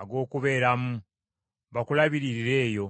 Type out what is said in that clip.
ag’okubeeramu, bakulabiririre eyo?